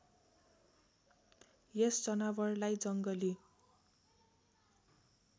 यस जनावरलाई जङ्गली